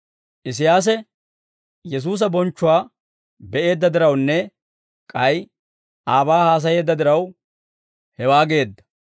Isiyaasi Yesuusa bonchchuwaa be'eedda dirawunne k'ay aabaa haasayeedda diraw, hewaa geedda.